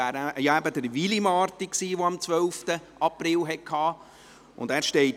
Es ist nämlich Willi Marti, der am 12. April Geburtstag hatte.